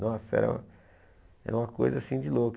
Nossa, era era uma coisa assim de louco.